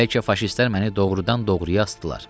Bəlkə faşistlər məni doğurdan doğurya asdılar.